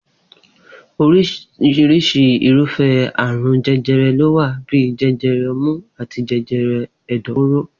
Orísirisi irúfé̩ àrùn je̩je̩re̩ ló wà bíi je̩je̩re̩ o̩mú àti je̩je̩re̩ è̩dò̩-fóró